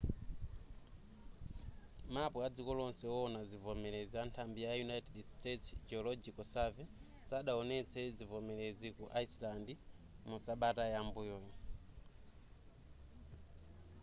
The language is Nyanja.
mapu adziko lonse wowona zivomerezi anthambi ya united states geological survey sadawonetse zivomerezi ku iceland mu sabata yam'mbuyo